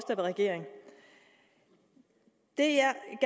regering det